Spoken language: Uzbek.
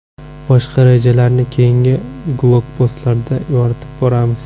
Boshqa rejalarni keyingi blogpostlarimizda yoritib boramiz.